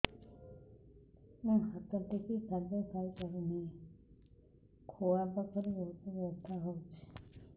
ମୁ ହାତ ଟେକି ଖାଦ୍ୟ ଖାଇପାରୁନାହିଁ ଖୁଆ ପାଖରେ ବହୁତ ବଥା ହଉଚି